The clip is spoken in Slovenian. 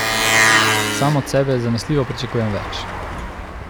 Sam od sebe zanesljivo pričakujem več.